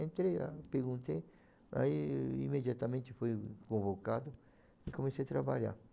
Entrei lá, perguntei, aí imediatamente fui convocado e comecei a trabalhar.